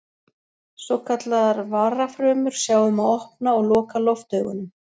Svokallaðar varafrumur sjá um að opna og loka loftaugunum.